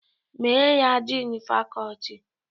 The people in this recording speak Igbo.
Mee ya Din fakọti!